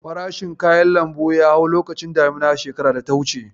Farashin kayan lambu ya hau lokacin damina shekarar data wuce.